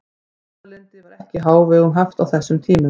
Umburðarlyndi var ekki í hávegum haft á þessum tímum.